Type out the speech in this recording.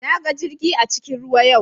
Na ga jirgi a cikin ruwa yau.